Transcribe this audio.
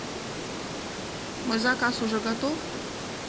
мой заказ уже готов